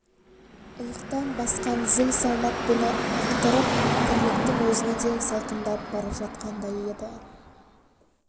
иықтан басқан зіл салмақ бұны ықтырып тірліктің өзіне де салқындап бара жатқандай еді